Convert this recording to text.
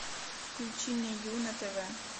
включи мне ю на тв